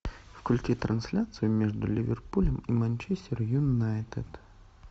включи трансляцию между ливерпулем и манчестер юнайтед